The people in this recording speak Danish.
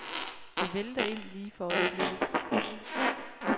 Det vælter ind lige for øjeblikket.